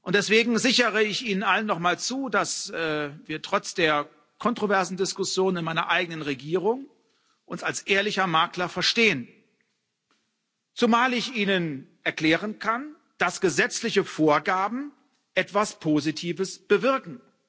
Deswegen sichere ich Ihnen allen nochmals zu, dass wir uns trotz der kontroversen Diskussionen in meiner eigenen Regierung als ehrlicher Makler verstehen, zumal ich Ihnen erklären kann, dass gesetzliche Vorgaben etwas Positives bewirken.